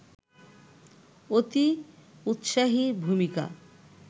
অতি উত্সাহী ভূমিকা